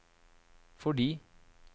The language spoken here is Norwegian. fordi